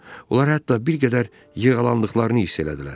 Onlar hətta bir qədər yırğalandıqlarını hiss elədilər.